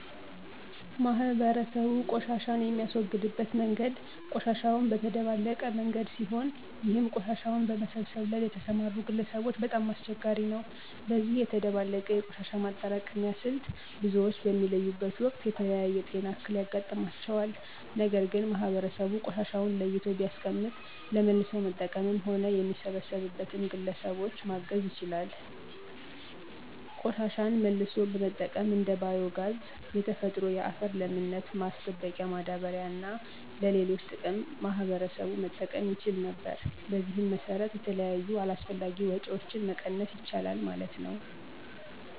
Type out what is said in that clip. ማህበረሰቡ ቆሻሻን የሚያስወግድበት መንገድ ቆሻሻውን በተደባለቀ መንገድ ሲሆን ይህም ቆሻሻውን በመሰብሰብ ላይ ለተሰማሩ ግለሰቦች በጣም አስቸጋሪ ነው። በዚህ የተደባለቀ የቆሻሻ ማጠራቀሚያ ስልት ብዙዎች በሚለዩበት ወቅት የተለያየ የጤና እክል ያጋጥማቸዋል። ነገር ግን ማህበረሰቡ ቆሻሻውን ለይቶ ቢያስቀምጥ ለመልሶ መጠቀምም ሆነ የሚሰበሰብበትን ግለሰቦች ማገዝ ይቻል ነበር። ቆሻሻን መልሶ በመጠቀም እንደ ባዮ ጋዝ፣ የተፈጥሮ የአፈር ለምነት ማስጠበቂያ ማዳበሪያ እና ለሌሎች ጥቅም ማህበረሰቡ መጠቀም ይችል ነበር። በዚህም መሰረት የተለያዩ አላስፈላጊ ወጭዎችን መቀነስ ይቻላል ማለት ነው።